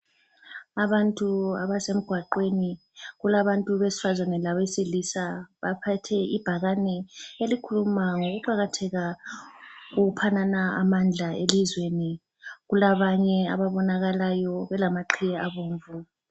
Abantu abase mgwaqweni, kulabantu besifazane labesilisa ,baphathe ibhakane elikhuluma ngokuqakatheka kokuphanana amandla elizweni ,kulabanye ababonakalayo belamaqhiye abomvu